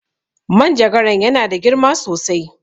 Manjagaran ya na da girma sosai